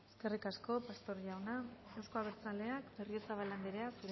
eskerrik asko pastor jauna euzko abertzaleak berriozabal anderea